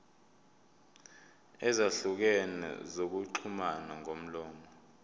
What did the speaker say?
ezahlukene zokuxhumana ngomlomo